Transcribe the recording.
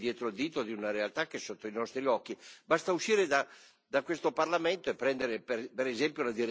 È assolutamente assurdo e anche demenziale nascondersi dietro il dito di una realtà che è sotto i nostri occhi.